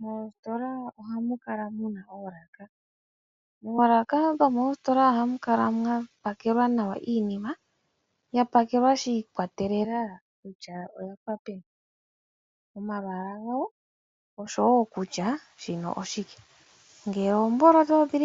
Moositola ohamu kala muna oolaka mono hamu kala mwalongelwa iinima, shi ikwatelela kutya oyo ludhi